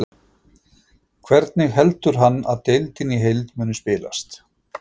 Hvernig heldur hann að deildin í heild muni spilast?